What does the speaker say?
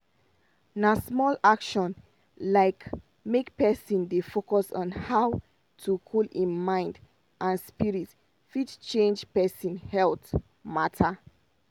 na small action like make pesin dey focus on how to cool hin mind and spirit fit change pesin health mata.